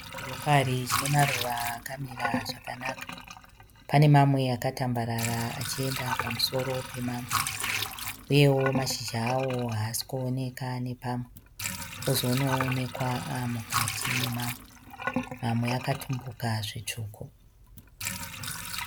Chirokari chine maruva akamira zvakanaka. Pane mamwe akatambarara achienda pamusoro pemamwe uyewo mashizha awo haiasi kuoneka nepamwe, ozonoonekwa aamukati memamwe. Mamwe akatumbuka zvitsvuku